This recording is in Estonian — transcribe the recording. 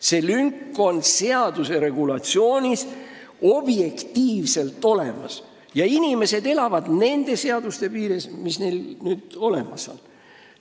See lünk on seaduse regulatsioonis objektiivselt olemas ja inimesed elavad nende seaduste piires, mis neil olemas on.